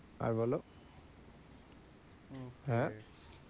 আর বলো হ্যাঁ,